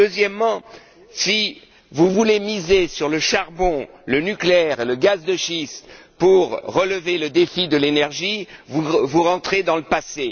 En réalité, si vous voulez miser sur le charbon, le nucléaire et le gaz de schiste pour relever le défi de l'énergie, vous retournez dans le passé.